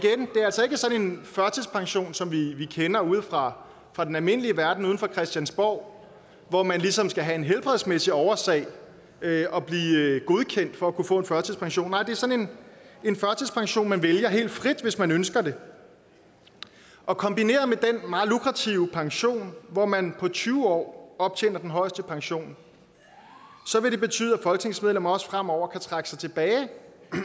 sådan en førtidspension som vi kender fra fra den almindelige verden uden for christiansborg hvor man ligesom skal have en helbredsmæssig årsag og blive godkendt for at kunne få en førtidspension nej det er sådan en førtidspension man vælger helt frit hvis man ønsker det og kombineret med den meget lukrative pension hvor man på tyve år optjener den højeste pension vil det betyde at folketingsmedlemmer også fremover kan trække sig tilbage